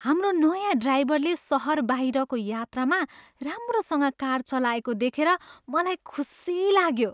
हाम्रो नयाँ ड्राइभरले सहरबाहिरको यात्रामा राम्रोसँग कार चलाएको देखेर मलाई खुसी लाग्यो।